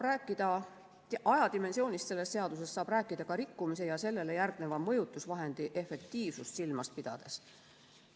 Ajadimensioonist selles seaduses saab rääkida ka rikkumise ja sellele järgneva mõjutusvahendi efektiivsust silmas pidades.